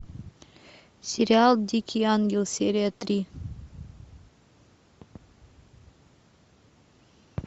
сериал дикий ангел серия три